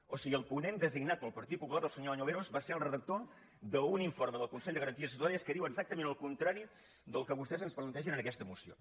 o sigui el ponent designat pel partit popular el senyor añoveros va ser el redac·tor d’un informe del consell de garanties estatutàries que diu exactament el contrari del que vostès ens plan·tegen en aquesta moció